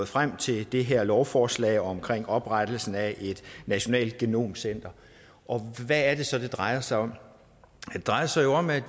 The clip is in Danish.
frem til det her lovforslag om oprettelsen af et nationalt genomcenter og hvad er det så det drejer sig om det drejer sig jo om at